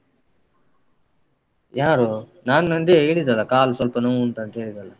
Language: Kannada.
ಯಾರು? ನಾನ್ ನಂದಿ ಹೇಳಿದಲ್ಲ ಕಾಲ್ ಸ್ವಲ್ಪ ನೋವುಂಟಂತ ಹೇಳಿದಲ್ಲ.